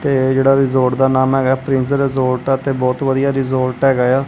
ਇਹ ਜੇਰਾ ਰਿਜੋਟ ਦਾ ਨਾਮ ਹੈਗਾ ਪ੍ਰਿੰਸਜ਼ ਰਿਜੋਟ ਤੇ ਬਹੁਤ ਵਧੀਆ ਰਿਜੋਟ ਹੈਗਾ ਆ--